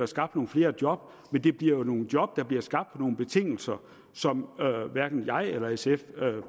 skabt nogle flere job men det bliver nogle job der bliver skabt på nogle betingelser som hverken jeg eller sf